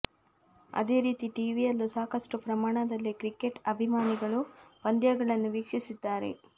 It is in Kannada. ಅದೇ ರೀತಿ ಟಿವಿಯಲ್ಲೂ ಸಾಕಷ್ಟು ಪ್ರಮಾಣದಲ್ಲಿ ಕ್ರಿಕೆಟ್ ಅಭಿಮಾನಿಗಳು ಪಂದ್ಯಗಳನ್ನು ವೀಕ್ಷಿಸಿದ್ದಾರೆ